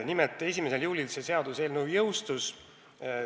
Nimelt: 1. juulil see seadus jõustus.